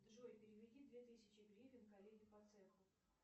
джой переведи две тысячи гривен коллеге по цеху